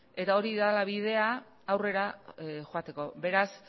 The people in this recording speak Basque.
eta hori dela bidea aurrera joateko beraz